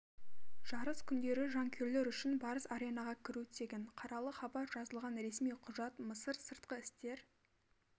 жарыс күндері жанкүйерлер үшін барыс аренаға кіру тегін қаралы хабар жазылған ресми құжат мысыр сыртқы істер